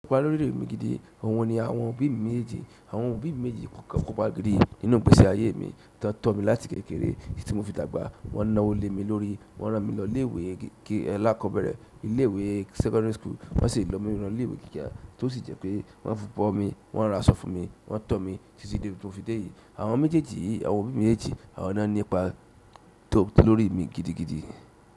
Ko pa lórí mi gidi, òun ni àwọn òbí mi méje, àwọn òbí mi méjèèjì kò ipa gidi nínú ìgbésí ayé mi, tiwọn tọ mí láti kékeré tí mo fi dàgbà, wọ́n nawò le mi lórí, wọ́n rán mi lọ ilé ìwé alakọ́bẹ̀rẹ̀, ilé ìwé secondary school wọ́n sì ranmi lọ ilé ìwé gíga tí ó sì jẹ́ pé wọ́n bọ̀ mi, wọ́n ra aṣọ fún mi, wọ́n tọ̀ mí títí dé ibi timo fi dé yìí. Àwọn méjèèjì yìí, àwọn òbí mi méjèèjì, àwọn náà ní ipa tó lórí mi gidigidi.